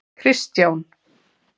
Kristján